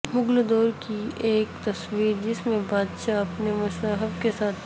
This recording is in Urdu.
مغل دور کی ایک تصویر جس میں بادشاہ اپنے مصاحب کے ساتھ